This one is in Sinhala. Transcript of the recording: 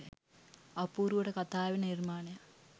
අපූරුවට කතාවෙන නිර්මාණයක්